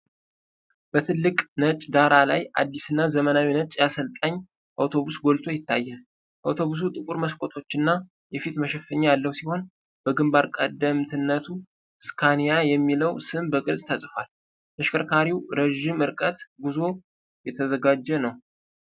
በትልቅ ነጭ ዳራ ላይ አዲስና ዘመናዊ ነጭ የአሰልጣኝ አውቶቡስ ጎልቶ ይታያል። አውቶቡሱ ጥቁር መስኮቶችና የፊት መሸፈኛ ያለው ሲሆን፣ በግንባር ቀደምትነቱ "ስካኒያ" የሚለው ስም በግልጽ ተጽፏል። ተሽከርካሪው ለረጅም ርቀት ጉዞ የተዘጋጀ ነው።